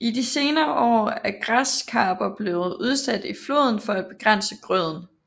I de senere år er græskarper blevet udsat i floden for at begrænse grøden